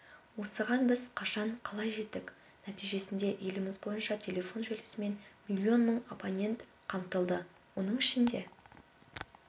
осыған біз қашан қалай жеттік нәтижесінде еліміз бойынша телефон желісімен миллион мың абонент қамтылды оның ішінде